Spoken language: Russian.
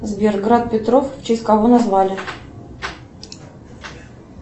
сбер град петров в честь кого назвали